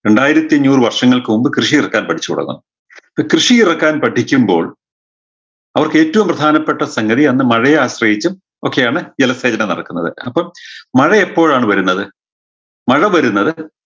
രണ്ടായിരത്തി അഞ്ഞൂറ് വർഷങ്ങൾക്ക് മുമ്പ് കൃഷി ഇറക്കാൻ പഠിച്ചു തുടങ്ങുന്നു കൃഷി ഇറക്കാൻ പഠിക്കുമ്പോൾ അവർക്ക് ഏറ്റവും പ്രധാനപ്പെട്ട സംഗതി അന്ന് മഴയെ ആശ്രയിച്ച് ഒക്കെയാണ് ജലസേചന നടക്കുന്നത് അപ്പൊ മഴ എപ്പോഴാണ് വരുന്നത് മഴ വരുന്നത്